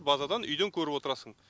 базадан үйден көріп отырасың